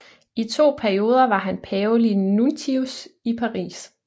I to perioder var han pavelig nuntius i Paris